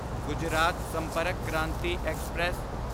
Gujarat Sampark Kranti express